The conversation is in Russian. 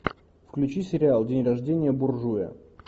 включи сериал день рождения буржуя